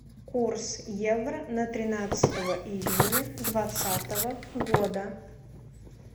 курс евро на тринадцатое июня двадцатого года